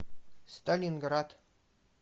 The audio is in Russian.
сталинград